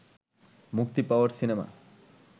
মুক্তি পাওয়া সিনেমা